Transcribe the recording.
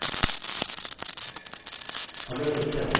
इसके बाद हम एक पैराग्राफ ब्रेक रखेंगे